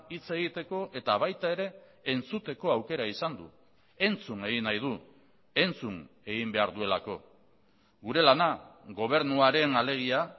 hitz egiteko eta baita ere entzuteko aukera izan du entzun egin nahi du entzun egin behar duelako gure lana gobernuarena alegia